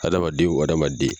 Hadamaden o hadamaden